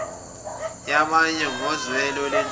yabanye ngozwelo nenhlonipho